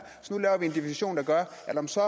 og at man så